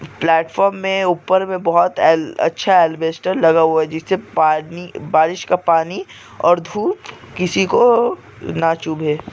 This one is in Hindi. प्लेटफार्म में ऊपर में बहुत अच्छा अल्बेस्टर लगा हुआ है जिससे पानी बारिश का पानी और धूप किसी को न चुभे--